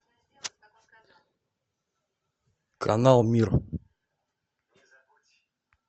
канал мир